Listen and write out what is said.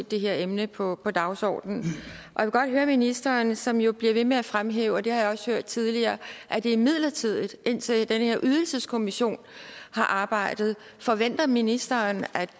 det her emne på på dagsordenen jeg vil godt høre ministeren som jo bliver ved med at fremhæve og det har jeg også hørt tidligere at det er midlertidigt indtil den her ydelseskommission har arbejdet forventer ministeren at